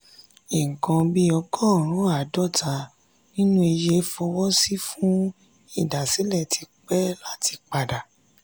"nǹkan bí ọgọ́rùn-ún àádọ́ta nínú iye fọwọ́ sí fún ìdásílẹ̀ ti pẹ́ láti padà"